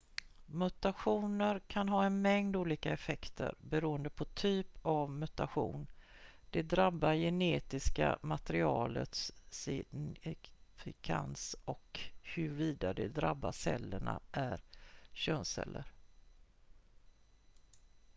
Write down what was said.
mutationer kan ha en mängd olika effekter beroende på typ av mutation det drabbade genetiska materialets signifikans och huruvida de drabbade cellerna är könsceller